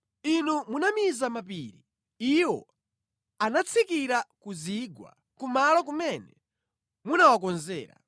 Inu munamiza mapiri, iwo anatsikira ku zigwa kumalo kumene munawakonzera.